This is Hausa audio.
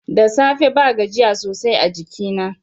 Da safe ba gajiya sosai a jikina.